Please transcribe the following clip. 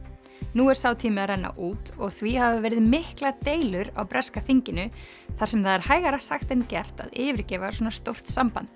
nú er sá tími að renna út og því hafa verið miklar deilur á breska þinginu þar sem það er hægara sagt en gert að yfirgefa svona stórt samband